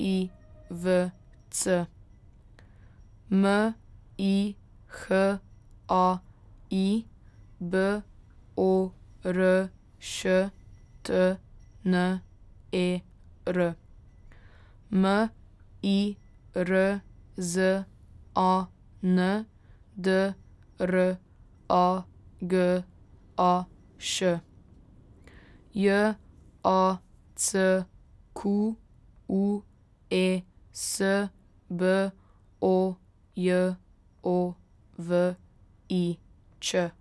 I V C; M I H A I, B O R Š T N E R; M I R Z A N, D R A G A Š; J A C Q U E S, B O J O V I Č.